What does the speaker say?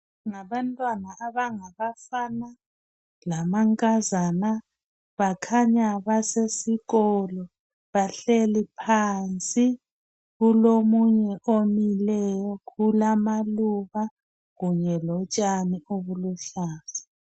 Ngabantwana abangabafana lamankazana bakhanya basesikolo bahleli phansi kulomunye omileyo kulamaluba kanye lotshani obuluhlaza